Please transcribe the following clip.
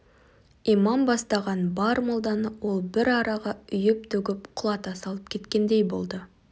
имам бастаған бар молданы ол бір араға үйіп-төгіп құлата салып кеткендей болды